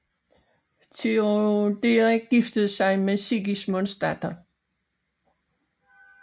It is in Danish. Teoderik giftede sig med Sigismunds datter